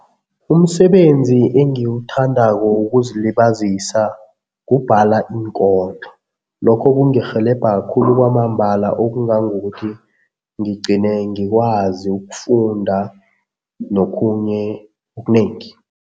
Umsebenzi engiwuthandako wokuzilibazisa kubhala iinkondlo. Lokho kungirhelebha khulu kwamambala okungangokuthi ngigcine ngikwazi ukufunda nokhunye okunengi